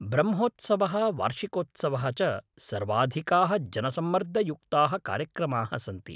ब्रह्मोत्सवः, वार्षिकोत्सवाः च सर्वाधिकाः जनसम्मर्दयुक्ताः कार्यक्रमाः सन्ति।